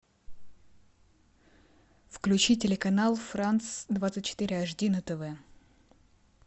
включи телеканал франц двадцать четыре аш ди на тв